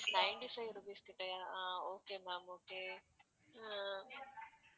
ninety-five rupees கிட்டயா அஹ் okay ma'am okay